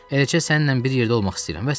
Eləcə səninlə bir yerdə olmaq istəyirəm, vəssalam.